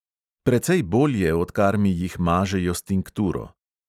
Precej bolje, odkar mi jih mažejo s tinkturo.